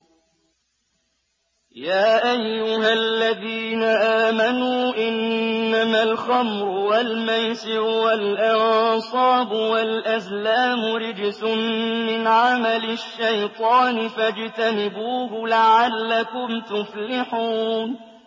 يَا أَيُّهَا الَّذِينَ آمَنُوا إِنَّمَا الْخَمْرُ وَالْمَيْسِرُ وَالْأَنصَابُ وَالْأَزْلَامُ رِجْسٌ مِّنْ عَمَلِ الشَّيْطَانِ فَاجْتَنِبُوهُ لَعَلَّكُمْ تُفْلِحُونَ